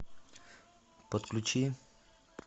подключи